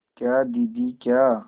क्या दीदी क्या